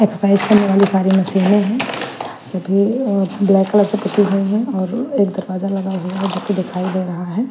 एक कलर वाली सारी मशीनें हैं सभी ब्लैक कलर से पुती हुई हैं और एक दरवाजा लगा हुआ है जो कि दिखाई दे रहा है .